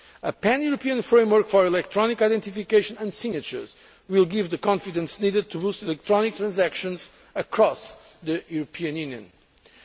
music. A pan European framework for electronic identification and signatures will give the confidence needed to boost electronic transactions across the European